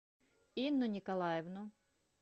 инну николаевну